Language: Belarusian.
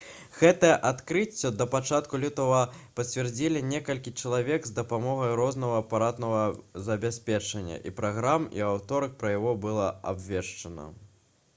гэтае адкрыццё да пачатку лютага пацвердзілі некалькі чалавек з дапамогай рознага апаратнага забеспячэння і праграм і ў аўторак пра яго было абвешчана